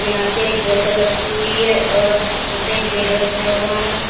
यहां पे एक बोतल रखी हुई है और यहां पे एक बैग रखा हुआ है।